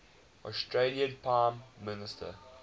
australian prime minister